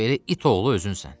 Belə it oğlu özünsən.